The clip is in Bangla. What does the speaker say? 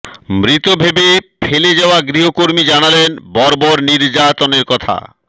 মৃত ভেবে ফেলে যাওয়া গৃহকর্মী জানালেন বর্বর নির্যাতনের কথা